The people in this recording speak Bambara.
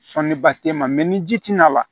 Sɔni ba te n ma mɛ ni ji ti na wa